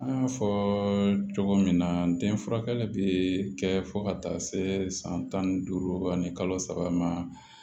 An y'a fɔ cogo min na n den furakɛli be kɛ fo ka taa se san tan ni duuru ani kalo saba ma